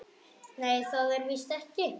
Nei, það er víst ekki.